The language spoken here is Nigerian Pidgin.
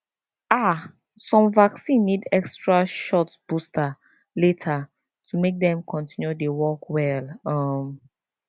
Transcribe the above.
ah some vaccine need extra shot booster later to make dem continue dey work well um